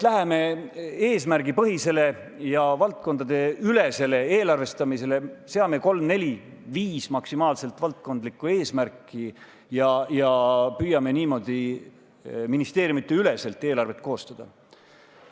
Läheme eesmärgipõhisele ja valdkonnaülesele eelarvestamisele, seame kolm-neli, maksimaalselt viis valdkondlikku eesmärki ja püüame niimoodi ministeeriumide üleselt eelarvet koostada.